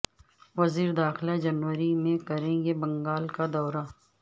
وز یر داخلہ جنوری میں کریں گے بنگال کا دورہ